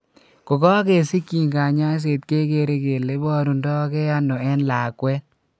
Kogagesichin kanyaiset kegere kele iporundoge ano en lakwet.